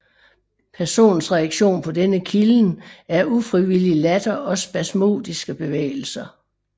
Personens reaktion på denne kilden er ufrivillig latter og spasmodiske bevægelser